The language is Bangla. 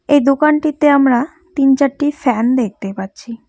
এই দোকানটিতে আমরা তিন চারটি ফ্যান দেখতে পাচ্ছি।